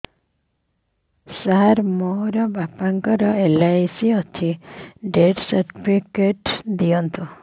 ସାର ମୋର ବାପା ଙ୍କର ଏଲ.ଆଇ.ସି ଅଛି ଡେଥ ସର୍ଟିଫିକେଟ ଦିଅନ୍ତୁ